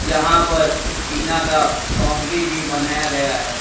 यहां पर टीना का बाउंड्री भी बनाया गया है।